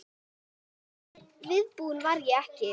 En viðbúin var ég ekki.